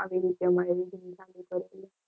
આવી રીતે